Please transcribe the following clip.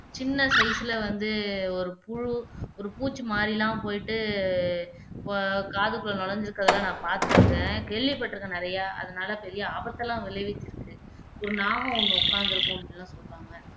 சின்ன சைசுல வந்து ஒரு புழு ஒரு பூச்சி மாதிரி எல்லாம் போயிட்டு காதுக்குள்ள நுழைஞ்சு இருக்கிறதை எல்லாம் நான் பார்த்திருக்கேன் கேள்விப்பட்டிருக்கேன் நிறைய அதனால பெரிய ஆபத்து எல்லாம் விளைவிச்சிருக்கு ஒரு நாகம் ஒன்னு உட்கார்ந்து இருக்கும் அப்படின்னு எல்லாம் சொல்லுவாங்க